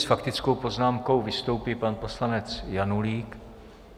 S faktickou poznámkou vystoupí pan poslanec Janulík.